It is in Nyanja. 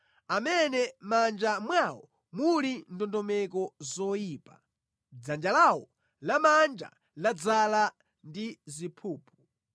amene mʼmanja mwawo muli ndondomeko zoyipa, dzanja lawo lamanja ladzaza ndi ziphuphu.